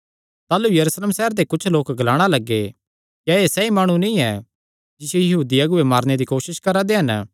ताह़लू यरूशलेम सैहरे दे कुच्छ लोक ग्लाणा लग्गे क्या एह़ सैई माणु नीं ऐ जिसियो यहूदी अगुऐ मारने दी कोसस करा करा दे हन